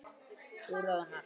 Þú roðnar.